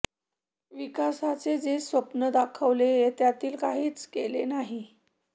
विकासाचे जे स्वप्न दाखवले त्यातील काहीच केले नाही